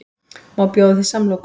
Má bjóða þér samloku?